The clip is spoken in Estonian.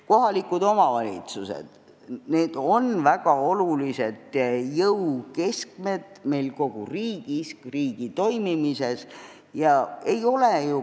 Kohalikud omavalitsused on väga olulised jõukeskmed kogu meie riigi toimimise mõttes.